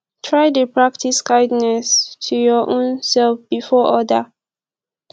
try de practice kindness to your own self before other